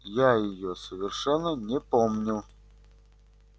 я её совершенно не помню